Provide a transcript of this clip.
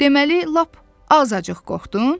Deməli lap azacıq qorxdun?